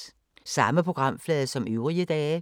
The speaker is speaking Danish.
Samme programflade som øvrige dage